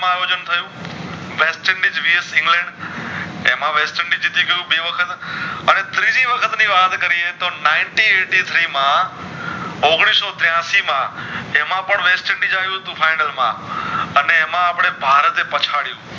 એમાં વેસ્ટર્નડીશ જીતી ગયું બે વખત અને ત્રીજી વખત ની વાત કરીયે તો Ninety eight three માં ઔગણીશ ત્યાંશી માં તે માં પણ વેસ્ટર્નડીશ આવ્યું તું final માં અને એમાં અપડે ભારતે પછડિયું